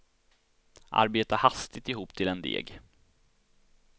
Arbeta hastigt ihop till en deg.